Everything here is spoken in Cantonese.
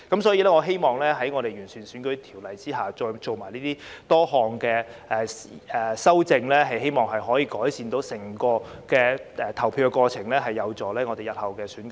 所以，我希望在完善選舉條例下作出多項修正後，能夠改善整個投票過程，有助日後進行選舉。